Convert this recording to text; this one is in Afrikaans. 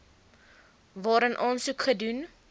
waarin aansoek gedoen